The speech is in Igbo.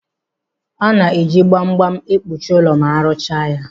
A na-eji gbam gbam ekpuchi ụlọ ma aruchaa ya.